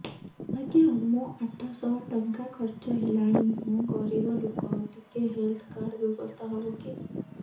ଆଜ୍ଞା ମୋ ଆଠ ସହ ଟଙ୍କା ଖର୍ଚ୍ଚ ହେଲାଣି ମୁଁ ଗରିବ ଲୁକ ଟିକେ ହେଲ୍ଥ କାର୍ଡ ବ୍ୟବସ୍ଥା ହବ କି